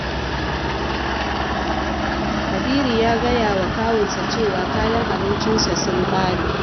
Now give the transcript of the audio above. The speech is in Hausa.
Kabiru ya gaya wa kawunsa cewa kayan abincinsa sun ƙare